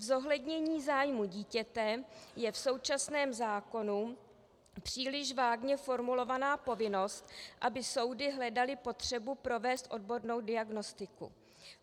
Zohlednění zájmu dítěte je v současném zákoně příliš vágně formulovaná povinnost, aby soudy hledaly potřebu provést odbornou diagnostiku.